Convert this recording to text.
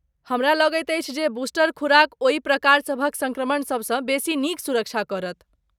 हमरा लगैत अछि जे बूस्टर खुराक ओहि प्रकार सभक सङ्क्रमण सबसँ बेसी नीक सुरक्षा करत।